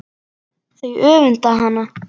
Þau öfunda hana.